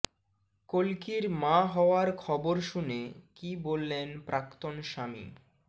কল্কির মা হওয়ার খবর শুনে কী বললেন প্রাক্তন স্বামী